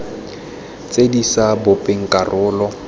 tse di sa bopeng karolo